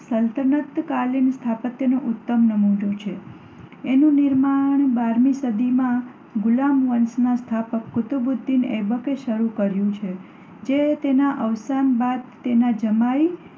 સલ્તનતકાલીન સ્થાપત્યનો ઉત્તમ નમૂનો છે. એનું નિર્માણ બારમી સદીમાં ગુલામ વંશના સ્થાપક કુતબુદ્દીન ઐબકે શરૂ કર્યુ છે જે તેના અવસાન બાદ તેના જમાઈ